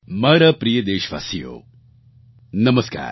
મારા પ્રિય દેશવાસીઓ નમસ્કાર